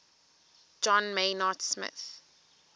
john maynard smith